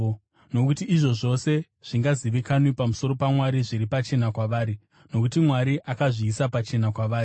Nokuti izvo zvose zvingazivikanwa pamusoro paMwari zviri pachena kwavari, nokuti Mwari akazviisa pachena kwavari.